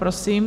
Prosím.